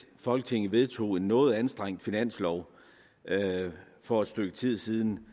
folketinget vedtog en noget anstrengt finanslov for et stykke tid siden